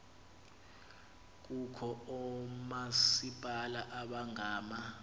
kukho oomasipala abangama